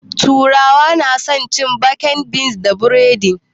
Turawa na san cin baked beans da buredi